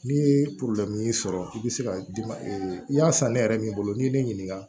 N'i ye sɔrɔ i bɛ se ka i y'a san ne yɛrɛ min bolo n'i ye ne ɲininka